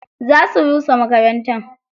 Za su rusa makarantar.